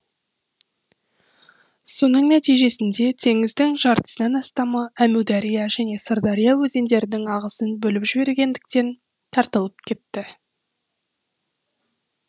соның нәтижесінде теңіздің жартысынан астамы әмудария және сырдария өзендерінің ағысын бөліп жібергендіктен тартылып кетті